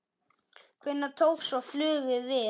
Hvenær tók svo flugið við?